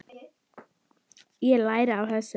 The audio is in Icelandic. Ég læri af þessu.